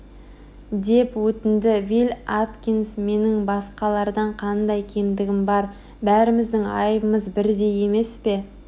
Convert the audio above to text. деп өтінді вилль аткинс менің басқалардан қандай кемдігім бар бәріміздің айыбымыз бірдей емес пе